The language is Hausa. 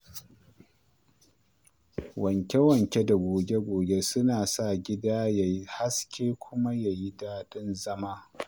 Wanke-wanke da goge-goge suna sa gida ya yi haske kuma ya yi daɗin zama.